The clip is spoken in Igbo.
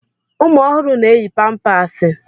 Ụmụ ọhụrụ na-eyi pampáásị.